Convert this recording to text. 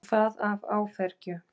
Og það af áfergju.